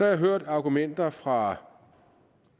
jeg hørt argumenter fra